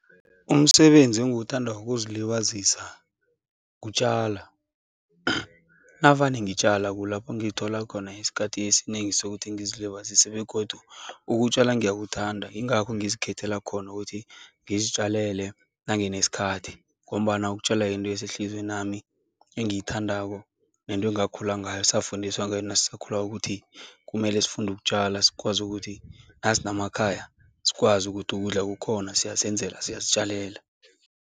Umsebenzi engiwuthandako wokuzilibazisa kutjala. Navane ngitjala kulapho ngithola khona isikhathi esinengi sokuthi ngizilibazise begodu ukutjala ngiyakuthanda, yingakho ngizikhethela khona ukuthi ngizitjalele nanginesikhathi ngombana ukutjala yinto esehlizywenami engiyithandako nento engakhula ngayo, safundiswa ngayo nasisakhulako ukuthi kumele sifunde ukutjala sikwazi ukuthi nasinamakhaya, sikwazi ukuthi ukudla kukhona, siyazenzela siyazitjalela.